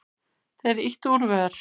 Þeir ýta úr vör.